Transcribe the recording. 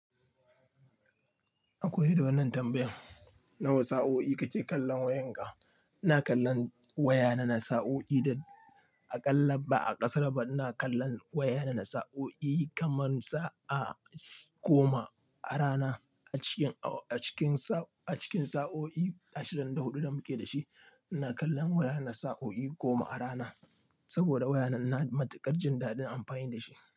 Akwai dawannin tambayan. Na wa sa'o'i kake kallon wayanka? Ina kallon wayana na sa'o'i da aƙalla ba a ƙasara ba. Ina kallon wayana na sa'o'i kaman sa'a goma a rana acikin, acikin sa'o'i ashirin da huɗu da muke da shi. Ina kallon wayana sa'o'i goma a rana saboda wayana na matuƙar jin daɗin amfani da shi.